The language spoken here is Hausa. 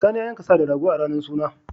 Sani ya yanka sa da rago a ranar suna.